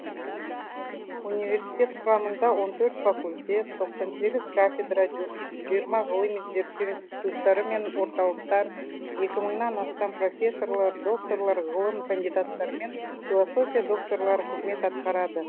университет құрамында он төрт факультет тқсан сегіз кафедра жиырма ғылыми зерттеу институттары мен орталықтар екі мыңнан астам профессорлар докторлар ғылым кандидаттары мен философия докторлары қызмет атқарады